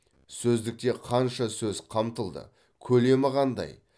сөздікте қанша сөз қамтылды көлемі қандай